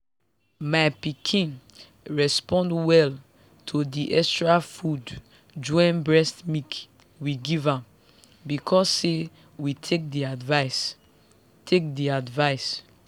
my pikin respond well to the extra food join breast milk we gave am because say we take the advice. take the advice.